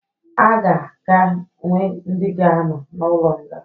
Aga ga-enwe ndi ga anọ na ụlo nga